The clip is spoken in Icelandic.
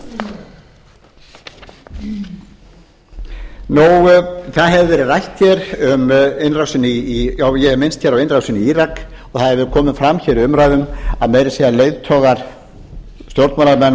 það hefur verið rætt hér um og ég hef minnst hér á innrásina í írak og það hefur komið fram hér í umræðum að meira að segja stjórnmálamenn og